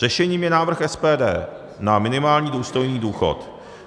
Řešením je návrh SPD na minimální důstojný důchod.